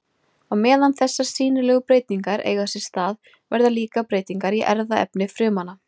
Á meðan þessar sýnilegu breytingar eiga sér stað verða líka breytingar í erfðaefni frumanna.